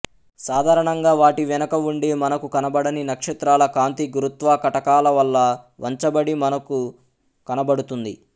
సాధారణంగా వాటి వెనక ఉండి మనకు కనబడని నక్షత్రాల కాంతి గురుత్వకటకాల వల్ల వంచబడి మనకు కనబడుతుంది